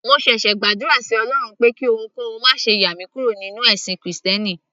mo ṣẹ̀ṣẹ̀ gbàdúrà sí ọlọrun pé kí ohunkóhun máṣe yà mí kúrò nínú ẹ̀sìn krìstẹ́nì